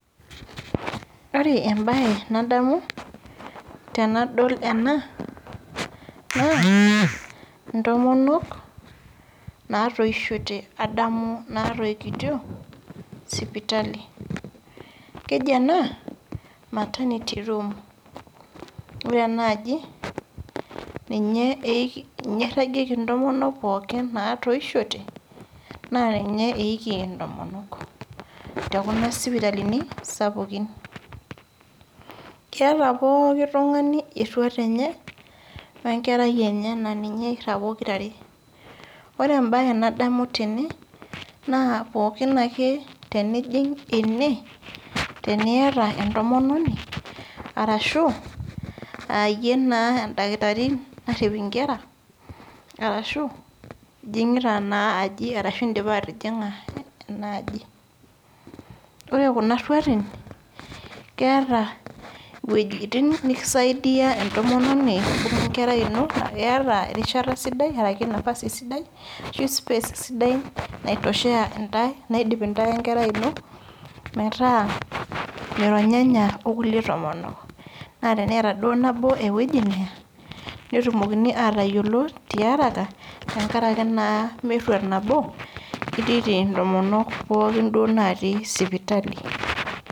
Ore embae nadamu tenadol ena naa ntomonok natoishote adamu natoikitio sipitali . Keji ena maternity room ,ore enaaji , ninye iragieki ntomonok pookin natoishote naa ninye eiki ntomonok tekuna sipitalini sapukin. Keeta pooki tungani eruat enye naa ninye irag pokirare .Ore embae nadamu tene naa pooki ake tenijing ene teniata entomononi ashu aayie taa endakitari naret inkera aashu ijingita naa aji ashu indipa atijinga aji . Ore kuna ruati keeta iwuejitin nikisaidia entomononi wenkerai ino iata erishata sidai ashu nafasi sidai ashu space sidai naitosheya intae , naidip intae wenkerai ino , metaa mironyanya okulie tomonok , naa teneeta duo nabo ewueji neya netumokini atayiolo tiaraka tenkaraki naa meruat nabo itiiti intomonok pookin duo natii sipitali.